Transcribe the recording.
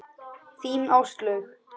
Þín, Áslaug.